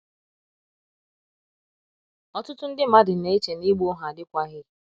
ọtụtụ ndị mmadụ na - eche na ịgba ohu adịkwaghị.